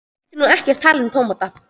Hann vildi nú ekkert tala um tómata.